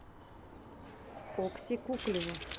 окси куклину